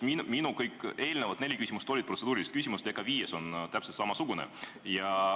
Minu eelmised neli küsimust olid kõik protseduurilised ja ka viies on täpselt samasugune.